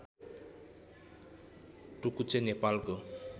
टुकुचे नेपालको